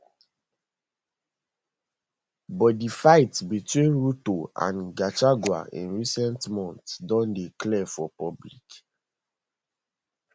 but di fight between ruto and gachagua in recent months don dey clear for public